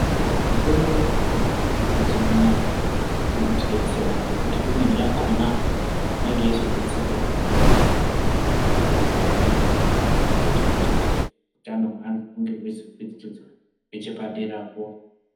Mitombo iri gadzirwa mazuwa anaa, iri kutidetsera, ngekuti imweni yakhona inenge yeizodetserawo amweni anthu kuti ange eizorapika. Zvizoita kuti utano hweanthu hunge hweizokwidziridzwa nechepaderapo.